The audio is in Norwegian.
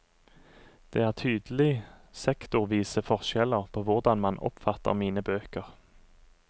Det er tydelig sektorvise forskjeller på hvordan man oppfatter mine bøker.